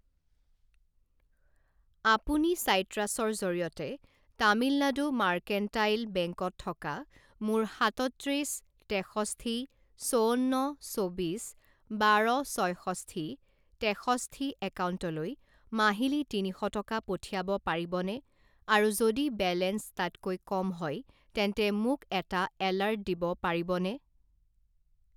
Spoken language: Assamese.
আপুনি চাইট্ৰাছৰ জৰিয়তে তামিলনাডু মাৰ্কেণ্টাইল বেংক-ত থকা মোৰ সাতত্ৰিছ তেষষ্ঠি চৌৱন্ন চৌবিছ বাৰ ছয়ষষ্ঠি তেষষ্ঠি একাউণ্টলৈ মাহিলী তিনি শ টকা পঠিয়াব পাৰিবনে আৰু যদি বেলেঞ্চ তাতকৈ কম হয় তেন্তে মোক এটা এলাৰ্ট দিব পাৰিবনে?